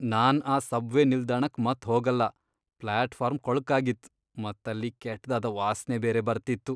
ನಾನ್ ಆ ಸಬ್ವೆ ನಿಲ್ದಾಣಕ್ ಮತ್ ಹೋಗಲ್ಲ. ಫ್ಲಾಟ್ ಫಾರ್ಮ್ ಕೊಳ್ಕಾಗಿತ್, ಮತ್ ಅಲ್ಲಿ ಕೆಟ್ದಾದ ವಾಸ್ನೆ ಬೇರೆ ಬರ್ತಿತ್ತು.